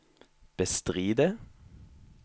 bestride